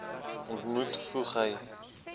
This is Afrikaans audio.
ontmoet voeg hy